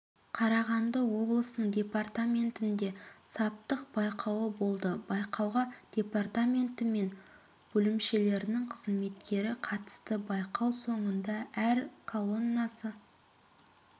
қарағанды облысының департаментінде саптық байқауы болды байқауға департаменті мен бөлімшелерінің қызметкері қатысты байқау соңында әр колоннасы